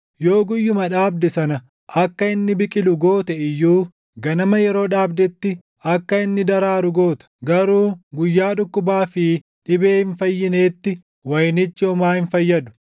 yoo guyyuma dhaabde sana akka inni biqilu goote iyyuu ganama yeroo dhaabdetti akka inni daraaru goota; garuu guyyaa dhukkubaa fi dhibee hin fayyineetti wayinichi homaa hin fayyadu.